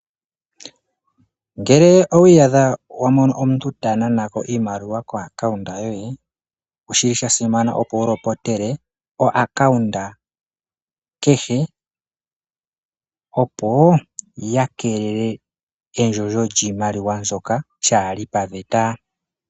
Ngele owi yadha wa mono omuntu ta nanako iimaliwa ko akaunda yoye. Oshi li sha simana opo wu lopotele o akaunda kehe opo ya kalele endjondjo lyiimaliwa mbyoka lyali paveta.